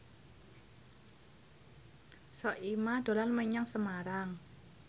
Soimah dolan menyang Semarang